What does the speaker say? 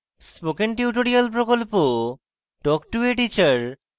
spoken tutorial প্রকল্প talk to a teacher প্রকল্পের অংশবিশেষ